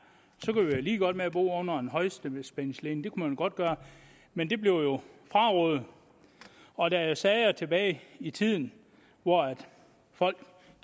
lige meget med at bo under en højspændingsledning det kunne man jo godt gøre men det blev frarådet og der er sager tilbage i tiden hvor folk